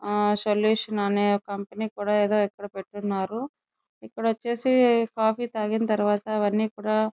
ఆ సొల్యూషన్ అనే ఏదో కంపెనీ ఇక్కడ పెట్టి ఉన్నారు ఇక్కడ వచ్చేసి కాఫీ తాగిన తర్వాత అన్ని కూడా --